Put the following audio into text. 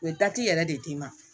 U ye yɛrɛ de d'i ma